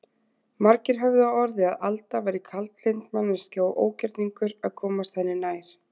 Margir höfðu á orði að Alda væri kaldlynd manneskja og ógerningur að komast henni nær.